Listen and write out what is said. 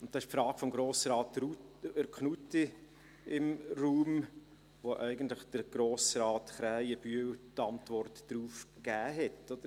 – Da steht die Frage von Grossrats Knutti im Raum, auf die Grossrat Krähenbühl die Antwort eigentlich gegeben hat.